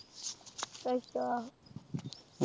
ਅੱਛਾ।